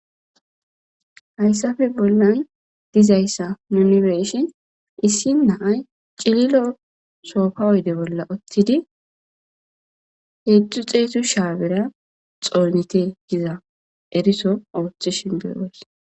hayssafe bollan dizayssa nuni beshin issi naay cililo soofa oyde bolla ottidi heezu xeetu shaa bera xoonete giza eriso oothishin beeos